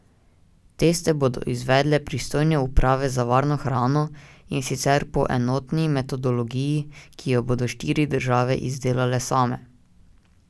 Teste bodo izvedle pristojne uprave za varno hrano, in sicer po enotni metodologiji, ki jo bodo štiri države izdelale same.